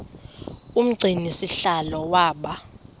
umgcini sihlalo waba